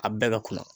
A bɛɛ ka kunna